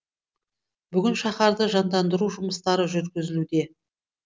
бүгін шаһарды жандандыру жұмыстары жүргізілуде